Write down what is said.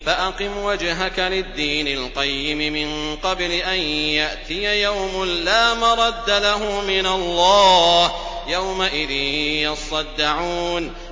فَأَقِمْ وَجْهَكَ لِلدِّينِ الْقَيِّمِ مِن قَبْلِ أَن يَأْتِيَ يَوْمٌ لَّا مَرَدَّ لَهُ مِنَ اللَّهِ ۖ يَوْمَئِذٍ يَصَّدَّعُونَ